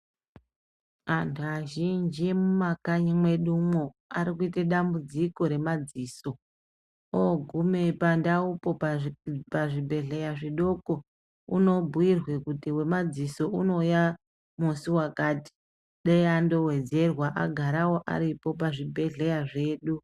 Antu vazhinji mumwakanyi mwedumwo ari kuite dambudziko remadziso. Ogume pandaupo, pazvibhedhleya zvidoko unobhuyirwe kuti wemadziso unouya musi wakati. Dei andowedzerwa agarawo aripo pazvibhedhleya zvedu.